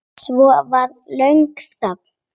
Svo var löng þögn.